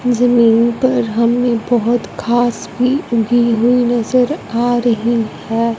जमीन पर हमें बहोत घास भी उगी हुई नजर आ रही है।